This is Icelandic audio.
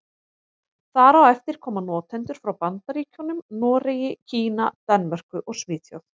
Þar á eftir koma notendur frá Bandaríkjunum, Noregi, Kína, Danmörku og Svíþjóð.